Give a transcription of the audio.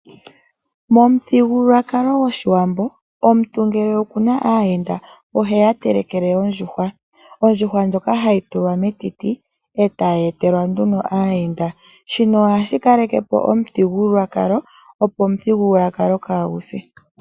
Momuthigululwakalo gwOshiwambo omuntu ngele okuna aayenda oheya telekele ondjuhwa. Ondjuhwa ndjoka ohayi tulwa metiti etayi etelwa nduno aayenda. Shino ohashi kalekepo omuthigululwakalo, opo kaaguse.